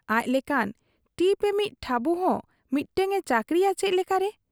ᱟᱡ ᱞᱮᱠᱟᱱ ᱴᱤᱯ ᱮᱢᱤᱡ ᱴᱷᱟᱹᱵᱩᱦᱚᱸ ᱢᱤᱫᱴᱟᱹᱝ ᱮ ᱪᱟᱹᱠᱨᱤᱭᱟ ᱪᱮᱫ ᱞᱮᱠᱟᱨᱮ ?